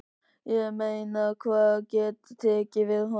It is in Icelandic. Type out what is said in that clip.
Ég meina hver getur tekið við honum?